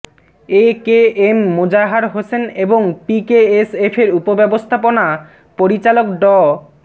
এ K M Mozahar Hossain এবং পিকেএসএফের উপব্যবস্থাপনা পরিচালক ড